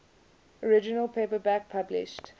original paperback published